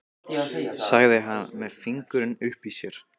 sagði hann með fingurinn uppi í sér.